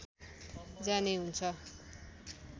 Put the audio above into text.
जाने हुन्छ